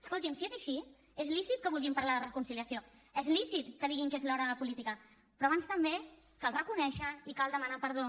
escolti’m si és així és lícit que vulguin parlar de reconciliació és lícit que diguin que és l’hora de la política però abans també cal reconèixer i cal demanar perdó